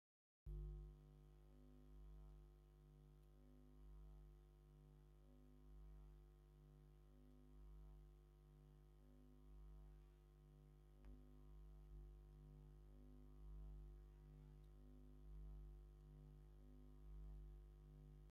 አብ ሓደ ከባቢ ብፀልማት ዝተፈላለዩ ጎቦታትን ሽንጥሮታትን ዘለዎ ቦታ ኮይኑ ፀሓይ ናብ ሰፈራ እናአተወት ብፀሊምን ቀይሕን ድሕረ ባይታ ይርአ፡፡ ወሰን ወሰና ከዓ ቀይሕ ሕብሪ አለዋ፡፡ ወይ ጉድ እዚ ከዓ ከውሊ ፀሓይ ይበሃል፡፡